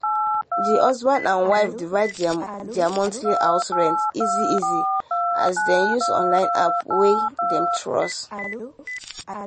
the husband and wife divide their monthly house rent easy easy as dem use online app wey dem trust.